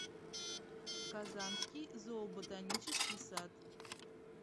казанский зооботанический сад